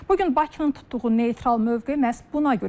Bugün Bakının tutduğu neytral mövqe məhz buna görədir.